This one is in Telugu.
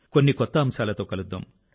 కొన్ని కొత్త అంశాలతో కలుద్దాం